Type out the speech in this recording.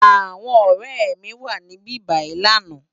Awòn òrè mi wá sibibáyi làná